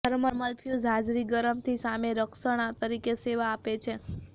thermal fuse હાજરી ગરમથી સામે રક્ષણ તરીકે સેવા આપે છે